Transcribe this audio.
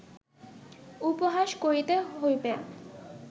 উপহাস করিতে হইবে